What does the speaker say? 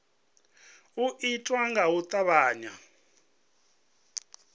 u itiwa nga u tavhanya